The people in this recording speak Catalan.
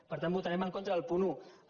per tant votarem en contra del punt un